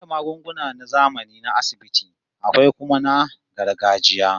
Banda magunguna na zamani na asibiti, akwai kuma na gargajiya